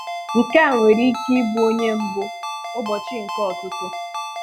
Nke a nwere ike ịbụ onye mbù ụbọchị nke ọ̀tụ́tụ̀.